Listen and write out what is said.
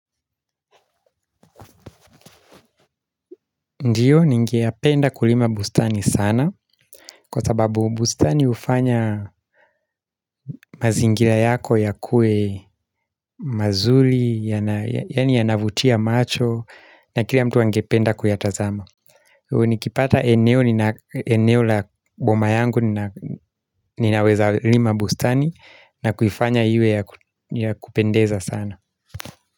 Ndiyo ningeyapenda kulima bustani sana kwa sababu bustani hufanya mazingila yako yakue mazuri yani yanavutia macho na kila mtu angependa kuyatazama. U nikipata eneo la boma yangu ninaweza lima bustani na kuifanya iwe ya kupendeza sana.